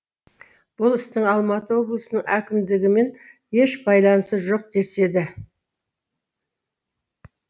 бұл істің алматы облысының әкімдігімен еш байланысы жоқ деседі